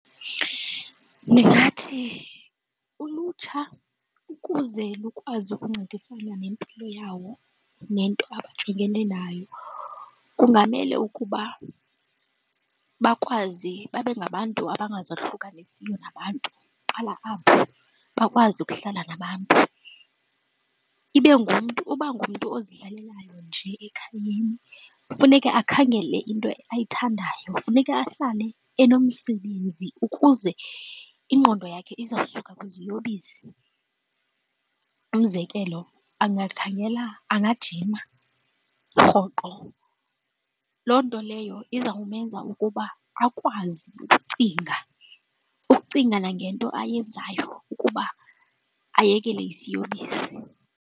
Ndingathi ulutsha ukuze lukwazi ukuncedisana nempilo yawo nento abajongene nayo kungamele ukuba bakwazi babe ngabantu abangazihlukanisiyo nabantu. Iqala apho, bakwazi ukuhlala nabantu. Ibe ngumntu, uba ngumntu ozihlalelayo nje ekhayeni. Kufuneka akhangele into ayithandayo, kufuneka ahlale enomsebenzi ukuze ingqondo yakhe izawusuka kwiziyobisi. Umzekelo, angakhangela, angajima rhoqo. Loo nto leyo izawumenza ukuba akwazi ukucinga, ukucinga nangento ayenzayo ukuba ayekele isiyobisi.